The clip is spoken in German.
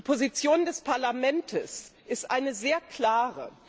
Die Position des Parlaments ist eine sehr klare.